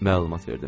məlumat verdim.